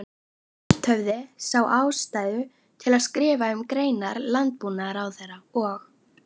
Fundirnir höfðu spurst út og það var uggur í vegagerðarmönnum.